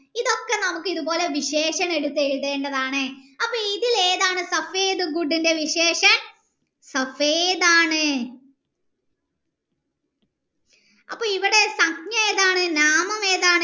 ഇതൊക്കെ നമ്മൾ ഇത്പോലെ എടുത്ത് എഴുതേണ്ടതാണ് അപ്പൊ ഇതിൽ ഏഥൻ ഇൻ്റെ ആണ് അപ്പൊ ഇവിടെ ഏതാണ് നാമം ഏതാണ്